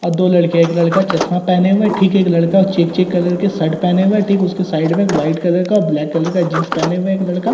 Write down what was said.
और दो लड़के एक लड़का चश्मा पहने हुए ठीक एक लड़का चिक-चिक कलर की शर्ट पहने हुए ठीक उसके साइड में एक व्हाइट कलर का और ब्लैक कलर का जीन्स पहने हुए एक लड़का --